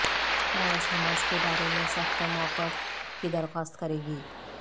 rice Hamas کے بارے میں سخت موقف کی درخواست کریں گی